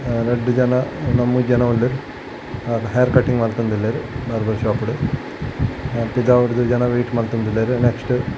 ರಡ್ಡ್ ಜನ ಲ ಮೂಜಿ ಜನಲ ಉಲ್ಲೆರ್ ಹೇರ್ ಕಟ್ಟಿಂಗ್ ಮಲ್ತೊಂದುಲ್ಲೆರ್ ಬಾರ್ಬರ್ ಶೋಪ್ ಡ್ ಪಿದಾಯ್ಡ್ ಜನ ವೈಟ್ ಮಂತೊಂದುಲ್ಲೆರ್ ನೆಕ್ಸ್ಟ್ .